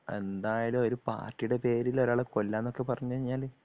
എന്തായാലും ഒരു പാർട്ടിയുടെ പേരിൽ ഒരാളെ കൊല്ലുവാന്നൊക്കെ പറഞ്ഞു കഴിഞ്ഞാല്